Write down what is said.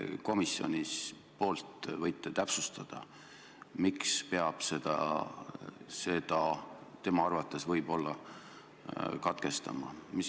Kas te komisjoni nimel võite täpsustada, miks peab tema arvates võib-olla lugemise katkestama?